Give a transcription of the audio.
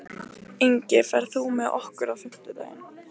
Ingi, ferð þú með okkur á fimmtudaginn?